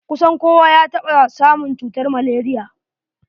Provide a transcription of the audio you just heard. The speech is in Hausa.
Kusan kowa ya taɓa samun cutar malaria.